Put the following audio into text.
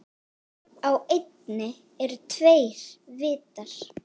Á eynni eru tveir vitar.